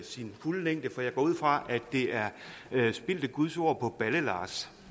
sin fulde længde for jeg går ud fra at det er spildte guds ord på balle lars